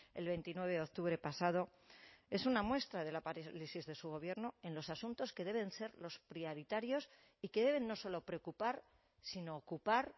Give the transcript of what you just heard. el veintinueve de octubre pasado es una muestra de la parálisis de su gobierno en los asuntos que deben ser los prioritarios y que deben no solo preocupar sino ocupar